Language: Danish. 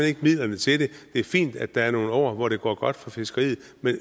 ikke midlerne til det det er fint at der er nogle år hvor det går godt for fiskeriet